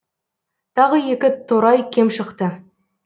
тағы екі торай кем шықты